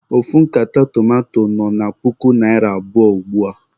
Ofu nkata tomanto nọ na puku naịra abụọ ugbua.